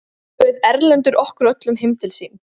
Þá bauð Erlendur okkur öllum heim til sín.